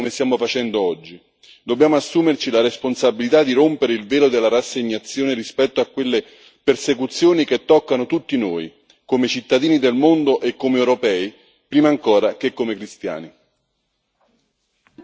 Ma non possiamo solo denunciare come stiamo facendo oggi, dobbiamo assumerci la responsabilità di rompere il velo della rassegnazione rispetto a quelle persecuzioni che toccano tutti noi, come cittadini del mondo e come europei, prima ancora che come cristiani.